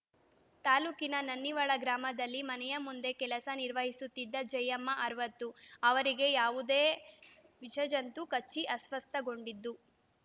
ತಾಲೂಕಿನ ನನ್ನಿವಾಳ ಗ್ರಾಮದಲ್ಲಿ ಮನೆಯ ಮುಂದೆ ಕೆಲಸ ನಿರ್ವಹಿಸುತ್ತಿದ್ದ ಜಯಮ್ಮ ಅರವತ್ತು ಅವರಿಗೆ ಯಾವುದೋ ವಿಷ ಜಂತು ಕಚ್ಚಿ ಅಸ್ವಸ್ಥಗೊಂಡಿದ್ದು